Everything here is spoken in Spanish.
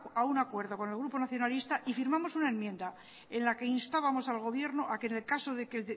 a un acuerdo con el grupo nacionalista y firmamos una enmienda en la que instábamos al gobierno a que en el caso de que el